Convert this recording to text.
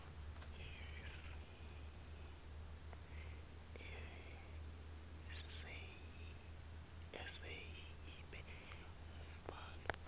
eseyi ibe ngumbhalo